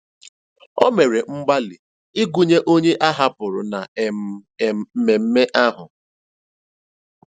O mèrè mgbalị́ ịgụ́nyè ònyè áhàpụrụ́ na um um mmèmme ahụ́.